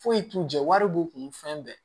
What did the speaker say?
Foyi t'u jɛ wari b'u kun fɛn bɛɛ